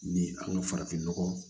Ni an ka farafinnɔgɔ